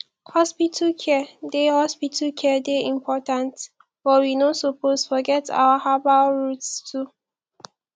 hospital care dey hospital care dey important but we no suppose forget our herbal roots too